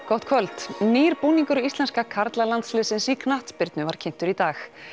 gott kvöld nýr búningur íslenska karlalandsliðsins í knattspyrnu var kynntur í dag